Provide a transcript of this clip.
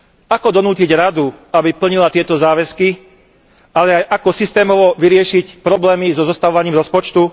Ako donútiť Radu, aby plnila tieto záväzky, ale aj ako systémovo vyriešiť problémy so zostavovaním rozpočtu?